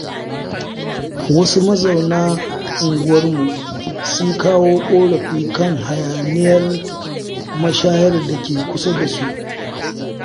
Wasu mazauna unguwarmu, sun kawo ƙorafi kan hayaniyar mashayar da ke kusa da su.